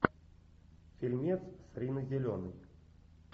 фильмец с риной зеленой